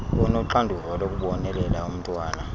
onoxanduva lokubonelela umntwana